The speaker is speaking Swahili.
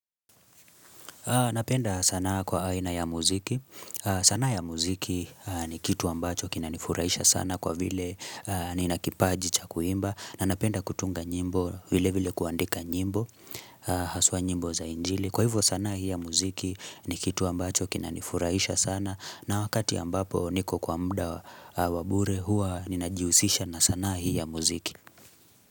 Napenda sanaa kwa aina ya muziki. Sanaa ya muziki ni kitu ambacho kina nifurahisha sana kwa vile ni ninakipaji cha kuimba. Na napenda kutunga nyimbo vile vile kuandika nyimbo, haswa nyimbo za injili. Kwa hivyo sanaa hii ya muziki ni kitu ambacho kina nifurahisha sana na wakati ambapo niko kwa muda wa bure huwa ni najihusisha na sanaa hii ya muziki.